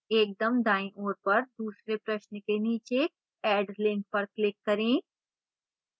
एकदम दायीं ओर पर दूसरे प्रश्न के नीचे add link पर click करें